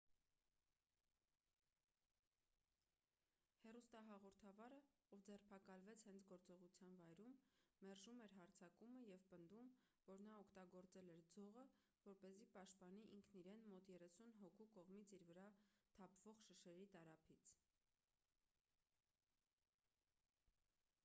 հեռուստահաղորդավարը ով ձերբակալվեց հենց գործողության վայրում մերժում էր հարձակումը և պնդում որ նա օգտագործել էր ձողը որպեսզի պաշտպանի ինքն իրեն մոտ երեսուն հոգու կողմից իր վրա թափվող շշերի տարափից